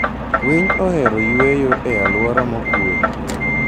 Winy ohero yueyo e alwora mokuwe.